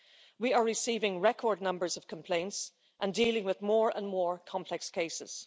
We are receiving record numbers of complaints and dealing with more and more complex cases.